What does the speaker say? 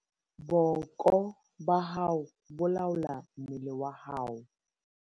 booko ba hao bo laola mmele wa hao